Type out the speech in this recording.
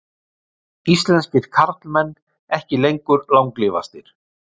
Íslenskir karlmenn ekki lengur langlífastir